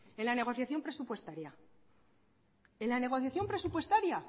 en la negociación presupuestaria en la negociación presupuestaria